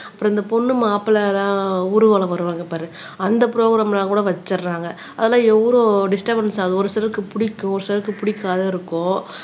அப்புறம் இந்த பொண்ணு மாப்பிள்ளைலாம் ஊர்வலம் வருவாங்க பாரு அந்த ப்ரோகிராம்லாம் கூட வச்சிடுறாங்க அதெல்லாம் எவ்ளோ டிஸ்டபென்ஸ் ஆகுது ஒரு சிலருக்கு பிடிக்கும் ஒரு சிலருக்கு பிடிக்காது இருக்கோ